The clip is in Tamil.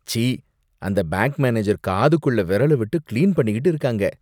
ச்சீ! அந்த பேங்க் மேனேஜர் காதுக்குள்ள விரல விட்டு கிளீன் பண்ணிக்கிட்டு இருக்காங்க.